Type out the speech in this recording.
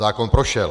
Zákon prošel.